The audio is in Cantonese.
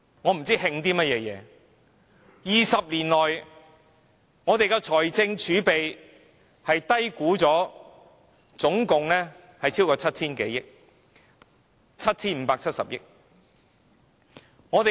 我不知道慶祝甚麼 ，20 年來，我們的財政儲備被低估了超過 7,000 多億元，正確是 7,570 億元。